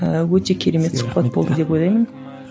ыыы өте керемет сұхбат болды деп ойлаймын